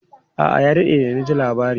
A'a, ya daɗe da na ji labari.